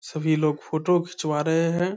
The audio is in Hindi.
सभी लोग फ़ोटो खिचवा रहे हैं।